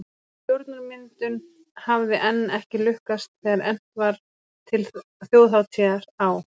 Stjórnarmyndun hafði enn ekki lukkast þegar efnt var til þjóðhátíðar á